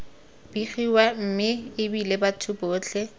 begiwa mme ebile batho botlhe